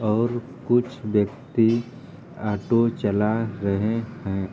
और कुछ व्यक्ति ऑटो चला रहे हैं।